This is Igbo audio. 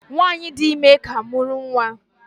Nwanyị dị ime ka mụrụ nwa.